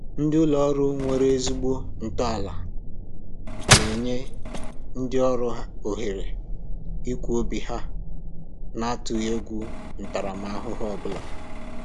Ndị ụlọ ọrụ nwere ezigbo ntọala na-enye ndị ọrụ ohere ikwu obi ha na-atụghị egwu ntaramahụhụ ọbụla